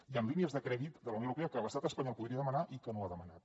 hi han línies de crèdit de la unió europea que l’estat espanyol podria demanar i que no ha demanat